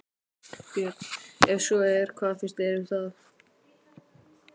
Björn: Ef svo er, hvað finnst þér um það?